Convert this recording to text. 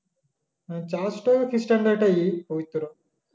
হ্যা church টা খ্রিস্টানদের একটা ই পবিত্র